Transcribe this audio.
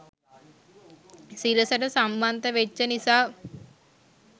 සිරසට සම්බන්ධ වෙච්ච නිසා